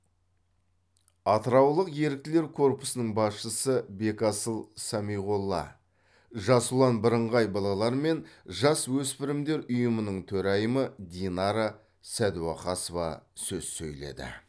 атыраулық еріктілер корпусының басшысы бекасыл самиғолла жас ұлан бірыңғай балалар мен жасөспірімдер ұйымының төрайымы динара сәдуақасова сөз сөйледі